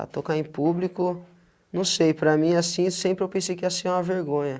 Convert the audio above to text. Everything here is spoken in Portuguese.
Ah, tocar em público, não sei, para mim assim, sempre eu pensei que ia ser uma vergonha.